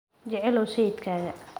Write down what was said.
Jeclow sayidkaaga.